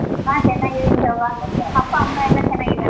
ಹಾ ಚೆನ್ನಾಗಿದ್ದೀನಿ ಶೋಭಾ. ಅಪ್ಪ, ಅಮ್ಮ ಎಲ್ಲ ಚೆನ್ನಾಗಿದ್ದಾರ?